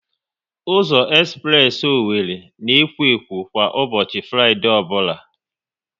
Ụzọ espress Owerri na ekwo ekwo kwa ụbọchị Fraịdee ọbụla